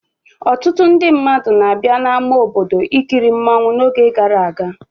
Ọtụtụ ndị mmadụ na-abịa n'ama obodo ikiri mmọnwụ n'oge gara aga.